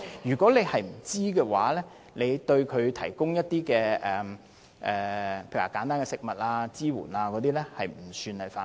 如果他不知道，而對該組織提供一些例如簡單的食物或支援，便不算犯法。